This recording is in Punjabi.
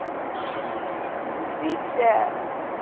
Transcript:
ਕਹਿੰਦੀ ਦੀਕਸ਼ਾ